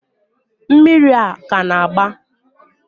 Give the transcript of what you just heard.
mmiri a ka na-agba?